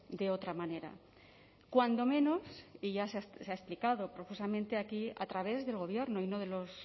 de otra manera cuando menos y ya se ha explicado profusamente aquí a través del gobierno y no de los